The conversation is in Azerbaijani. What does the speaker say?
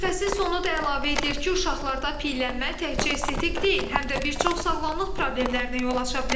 Mütəxəssis onu da əlavə edir ki, uşaqlarda piyələnmə təkcə estetik deyil, həm də bir çox sağlamlıq problemlərinə yol aça bilər.